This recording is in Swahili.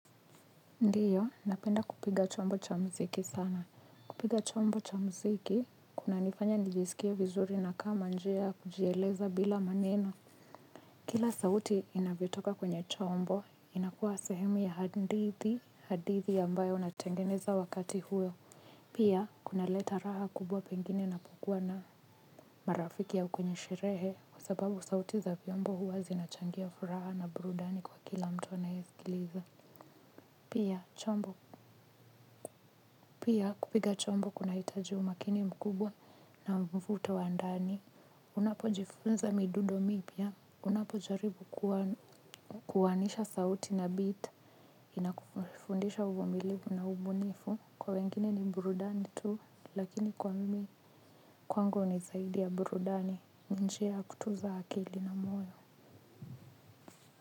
Ndiyo, napenda kupiga chombo cha muziki sana. Kupiga chombo cha muziki, kuna nifanya nijisikie vizuri na kama njiaya kujieleza bila maneno. Kila sauti inavyo toka kwenye chombo, inakuwa sehemu ya hadithi hadithi ambayo natengeneza wakati huo. Pia, kuna leta raha kubwa pengine na pokuwa na marafiki a ukwenye sherehe kwasababu sauti za vyombo huwa zinachangia furaha na burudani kwa kila mtu anayesikiliza. Pia, chombo. Pia kupiga chombo kuna hitaji umakini mkubwa na mvuto wandani unapo jifunza midundo mipya unapo jaribu kuanu kuwanisha sauti na beat inakufundisha uvumilivu na ubunifu kwa wengine ni burudani tu lakini kwa mimi kwangu nizaidi ya burudani ninjiaya kutunza akili na moyo.